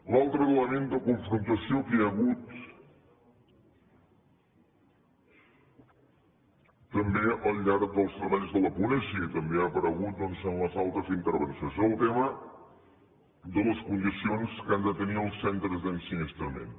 l’altre element de confrontació que hi ha hagut també al llarg dels treballs de la ponència i que també ha aparegut doncs en les altres intervencions és el tema de les condicions que han de tenir els centres d’ensinistrament